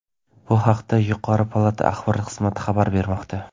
Bu haqda yuqori palata Axborot xizmati xabar bermoqda.